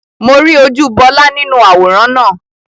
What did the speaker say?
Mo rí ojú Bọlá nínú àwòrán náà